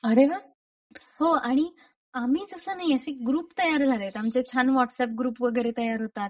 अरे वा! हो आणि आम्ही तसं नाहीये ग्रुप तयार झालेत आमचे छान व्हाट्सअप ग्रुप वगैरे तयार होतात.